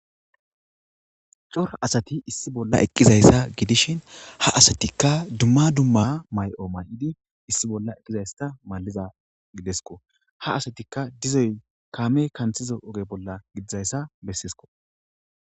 Cora asati issi bolla eqqizayssa gidishin ha asatikka dumma dumma mayo may7idi issi bolla eqqizayssta malliza gidesko ha asatikka dizoy kaame kanthiza oge bolla gidizayssa besseeskko.